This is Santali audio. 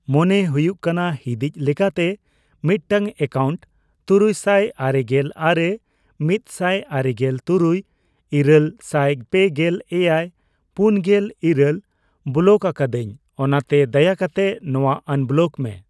ᱢᱚᱱᱮ ᱦᱩᱭᱩᱜ ᱠᱟᱱᱟ ᱦᱤᱸᱫᱤᱡᱽ ᱞᱮᱠᱟᱛᱮ ᱢᱤᱫᱴᱟᱝ ᱮᱠᱟᱣᱩᱱᱴ ᱛᱩᱨᱩᱭᱥᱟᱭ ᱟᱨᱮᱜᱮᱞ ᱟᱨᱮ ,ᱢᱤᱛᱥᱟᱭ ᱟᱨᱮᱜᱮᱞ ᱛᱩᱨᱩᱭ ,ᱤᱨᱟᱹᱞ ᱥᱟᱭ ᱯᱮᱜᱮᱞ ᱮᱭᱟᱭ ,ᱯᱩᱱᱜᱮᱞ ᱤᱨᱟᱹᱞ ᱵᱚᱞᱚᱠ ᱟᱠᱟᱫᱟᱧ ᱚᱱᱟᱛᱮ ᱫᱟᱭᱟᱠᱟᱛᱮ ᱱᱚᱣᱟ ᱟᱱᱵᱚᱞᱚᱠ ᱢᱮ ᱾